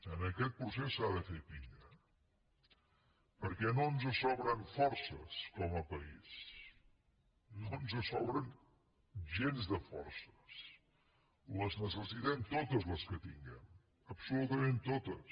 en aquest procés s’ha de fer pinya perquè no ens sobren forces com a país no ens sobren gens de forces necessitem totes les que tinguem absolutament totes